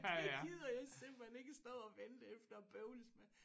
Det gider jeg simpelthen ikke stå og vente efter og bøvles med